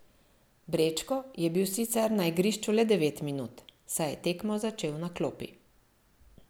Brečko je bil sicer na igrišču le devet minut, saj je tekmo začel na klopi.